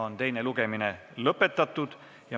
Teine lugemine on lõppenud.